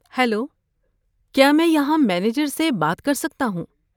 Hello, کیا میں یہاں مینیجر سے بات کر سکتا ہوں؟